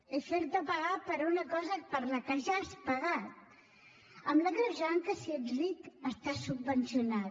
és fer te pagar per una cosa per la qual ja has pagat amb l’agreujant que si ets ric estàs subvencionat